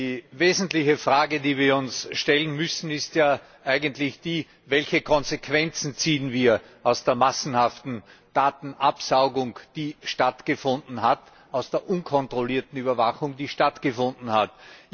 Die wesentliche Frage, die wir uns stellen müssen, ist ja eigentlich die Welche Konsequenzen ziehen wir aus der massenhaften Datenabsaugung, aus der unkontrollierten Überwachung, die stattgefunden haben?